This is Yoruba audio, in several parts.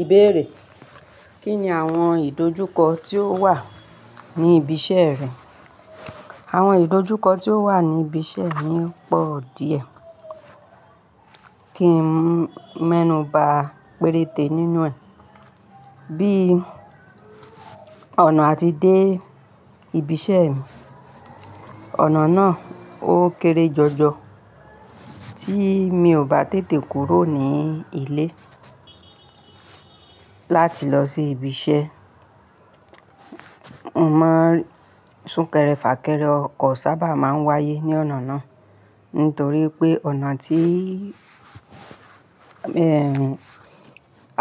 Ìbéèrè: Kí ni àwọn ìdojúkọ tí ó wà ní ibi iṣẹ́ rẹ? Àwọn ìdọ́júkọ́ tí ó wà ní ibi iṣẹ́ mi pọ̀ díẹ̀, kí n mú ẹnu bá péréte nínú ẹ̀. Bí ọ̀nà a tí dé ibi iṣẹ́ mi, ọ̀nà náà ó kéré jọjọ, tí mi ò bá tètè kúrò ní ilé láti lọ sí ibi iṣẹ́, mo máa ń súnkẹrẹ fà kẹrẹ, ọkọ̀ sábà máa ń wáyé ní ọ̀nà náà. Nítorí pé ọ̀nà tí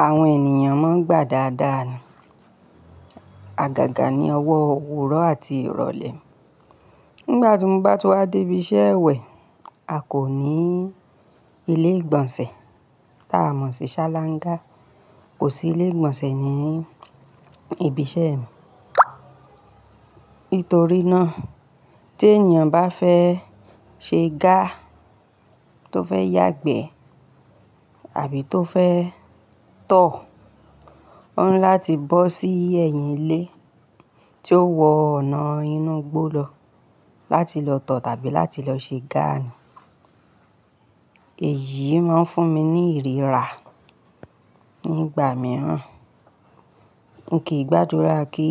àwọn ènìyàn máa ń gbà dáadáa ni, agàgà ní ọwọ́ òwúrọ̀ àti ìrọ̀lẹ́. Nígbà tí mo bá tú wá dé ibi iṣẹ́ ẹ wẹ̀, a kò ní ilé ìgbọ̀nsẹ̀ tá a mọ̀ sí ṣáláńgá. Kò sí ilé ìgbọ̀nsẹ̀ ní ibi iṣẹ́ mi. Nítorí náà tí ènìyàn bá fẹ́ ṣe ga, tó fẹ́ yàgbẹ́ àbí tó fẹ́ tọ̀, ó ní láti bọ́ sí ẹ̀yìn ilé tí ó wọ ọ̀nà inú igbó lọ láti lọ tọ̀ tàbí láti lọ ṣe gà. Èyí máa ń fún mi ní ìríra nígbà mìíràn. Mi kí gbàdúrà kí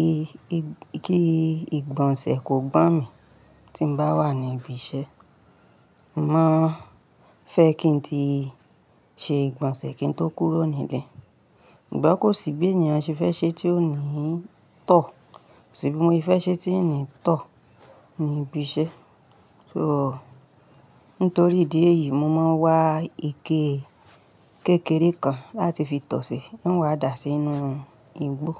ìgbọ̀nsẹ̀ kó gbọ́n mi tí mo bá wà ní ibi iṣẹ́. Mo máa fẹ́ kí n tí ṣe ìgbọ̀nsẹ̀ kí n tó kúrò ní ilé. Ṣùgbọ́n kó sì gbé ènìyàn ṣe fẹ́ ṣe tí ó ní tọ̀, kó sì bí mo ṣe fẹ́ ṣe tí ìní tọ̀ ní ibi iṣẹ́. So nítorí ìdí èyí mo máa ń wá ike kékeré kan láti fi tọ̀ ṣe, ń wá dà sí inú igbó.